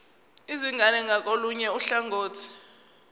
izingane ngakolunye uhlangothi